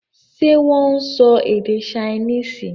Ṣé wọ́n ń sọ èdè Chinese?